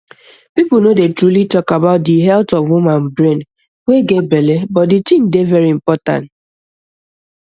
people no dey truly talk about di health of woman brain wey get belle but di tin dey very important